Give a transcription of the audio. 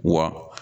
Wa